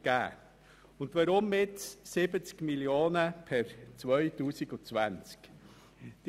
Weshalb sind es nun gerade 70 Mio. Franken per 2020?